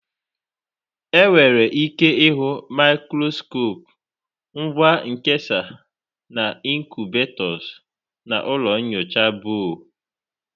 Enwere ike ịhụ maịkroskop, ngwa nkesa, na ịnkubetos na ụlọ nyocha Boo.